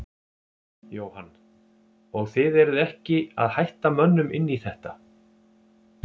Jóhann: Og þið eruð ekki að hætta mönnum inn í þetta?